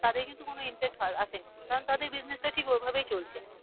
তাদের কিন্তু কোনো আসেনি কারণ তাদের business টা ঠিক ওই ভাবেই চলছে।